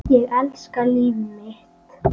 Ég elska líf mitt.